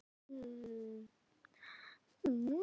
Í öðru lagi fasteignir